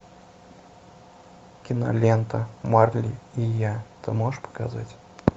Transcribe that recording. кинолента марли и я ты можешь показать